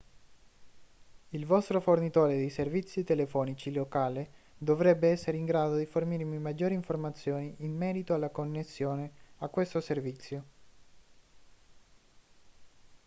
il vostro fornitore di servizi telefonici locale dovrebbe essere in grado di fornirvi maggiori informazioni in merito alla connessione a questo servizio